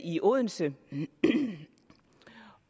i odense